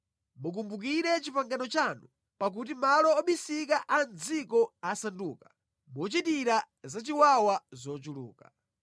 Mukumbukire pangano lanu, pakuti malo obisika a mʼdziko asanduka mochitira zachiwawa zochuluka.